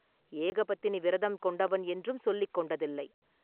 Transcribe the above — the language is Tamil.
ஏகபத்தினி விரதம் கொண்டவன் என்றும் சொல்லிக் கொண்டதில்லை.